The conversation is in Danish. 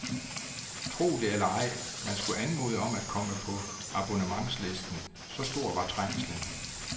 Tro det eller ej, man skulle anmode om at komme på abonnementslisten, så stor var trængslen.